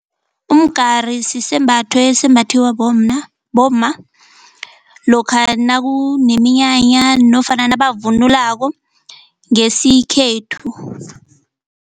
Umgari sisembatho esembathiwa bomma bomma lokha nakuneminyanya nofana nabavunulako ngesikhethu.